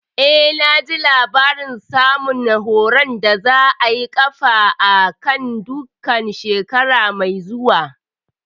Eh, naji labarin sabon horon da za a ƙafa a kan duka shekara mai zuwa